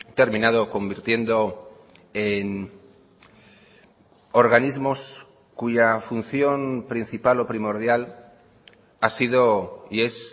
terminado convirtiendo en organismos cuya función principal o primordial ha sido y es